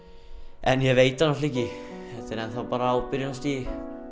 en þetta er enn þá bara á byrjunarstigi